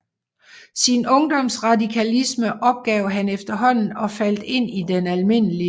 Sin Ungdoms Radikalisme opgav han efterhaanden og faldt ind i den alm